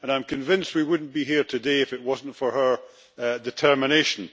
I am convinced we would not be here today if it was not for her determination.